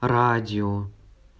радио